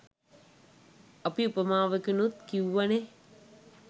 අපි උපමාවකිනුත් කිව්වනේ